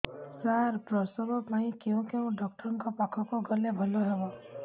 ସାର ପ୍ରସବ ପାଇଁ କେଉଁ ଡକ୍ଟର ଙ୍କ ପାଖକୁ ଗଲେ ଭଲ ହେବ